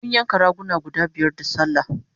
mun yanka raguna guda biyar da sallah